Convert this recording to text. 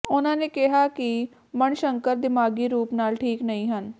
ਉਨ੍ਹਾਂ ਨੇ ਕਿਹਾ ਕਿ ਮਣਿਸ਼ੰਕਰ ਦਿਮਾਗੀ ਰੂਪ ਨਾਲ ਠੀਕ ਨਹੀਂ ਹਨ